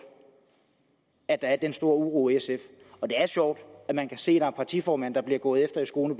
at der er den store uro i sf og det er sjovt at man kan se er en partiformand der bliver gået efter i skoene